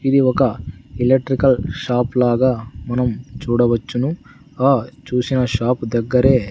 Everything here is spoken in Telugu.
ఇది ఒక ఎలక్ట్రికల్ షాప్ లాగా మనం చూడవచ్చును ఆ చూసిన షాప్ దగ్గరే--